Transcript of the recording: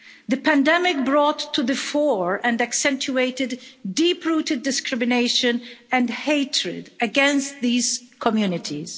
The pandemic brought to the fore and accentuated deep-rooted discrimination and hatred against these communities.